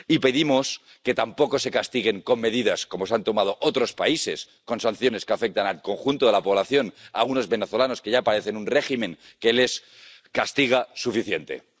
Y pedimos que tampoco se castigue con medidas ―como las que han tomado otros países―, con sanciones que afectan al conjunto de la población a algunos venezolanos que ya padecen un régimen que les castiga suficientemente.